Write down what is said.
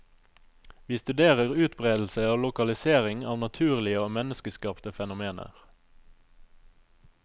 Vi studerer utbredelse og lokalisering av naturlige og menneskeskapte fenomener.